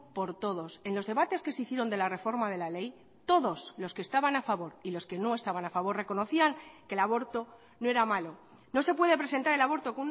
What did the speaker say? por todos en los debates que se hicieron de la reforma de la ley todos los que estaban a favor y los que no estaban a favor reconocían que el aborto no era malo no se puede presentar el aborto